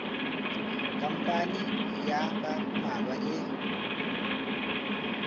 khampani ya ba mmalwa e